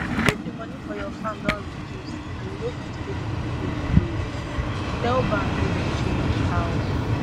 if di money for your farm don reduce and you no fit pay di money wey you borrow again tell bank make dem change how